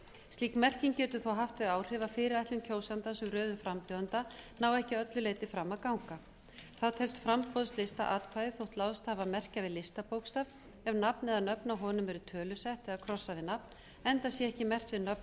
slík merking getur þó haft þau áhrif að fyrirætlun kjósandans um röðun frambjóðenda nái ekki að öllu leyti fram að ganga þá telst framboðslistaatkvæði þó láðst hafi að merkja við listabókstaf ef nafn eða nöfn á honum eru tölusett eða krossað við nafn enda sé ekki merkt við nöfn